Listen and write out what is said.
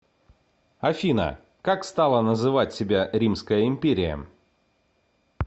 афина как стала называть себя римская империя